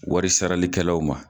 Warisaralikɛlaw ma